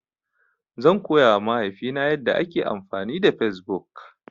Zan koya wa mahaifi na yanda ake amfani da Fesbuk